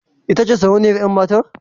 Ita ce sarauniyar yar mata?